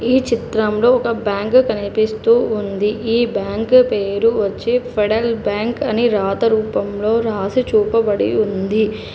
ఈ చిత్రంలో ఒక బ్యాంకు కనిపిస్తూ ఉంది ఈ బ్యాంకు పేరు వచ్చి ఫెడల్ బ్యాంక్ అని రాత రూపంలో రాసి చూపబడి ఉంది.